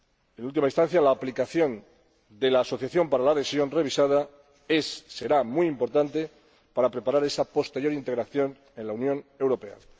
En última instancia, la aplicación de la asociación para la adhesión revisada será muy importante para preparar esa posterior integración en la Unión Europea.